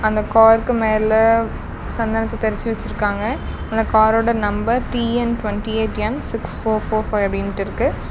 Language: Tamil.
அந்த காருக்கு மேல சந்தனத்த தெளிச்சு வெச்சுருக்காங்க அந்த காரோட number T N twenty eight M six four four five அப்டின்ட்டு இருக்கு.